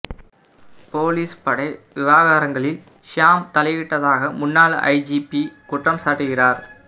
police படை விவகாரங்களில் Hisham தலையிட்டதாக முன்னாள் ஐஜிபி குற்றம் சாட்டுகிறார்